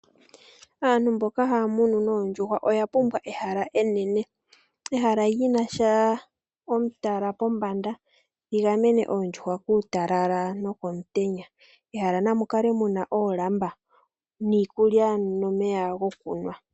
Aantu mboka haya munu noondjuhwa oya pumbwa ehala enene. Ehala lyi na sha omutala pombanda li gamene oondjuhwa kuutalala no komutenya. Mehala na mu kale muna oolamba niikulya nomeya go ku nwa.